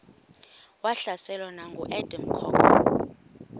wahlaselwa nanguadam kok